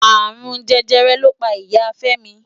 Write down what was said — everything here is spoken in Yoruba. Arún Jẹjẹrẹ ló pá Ìyá Femi.